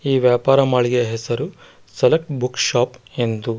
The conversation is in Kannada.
ಈ ವ್ಯಾಪಾರ ಮಳಿಗೆ ಹೆಸರು ಸೆಲೆಕ್ಟ್ ಬುಕ್ ಶಾಪ್ ಎಂದು.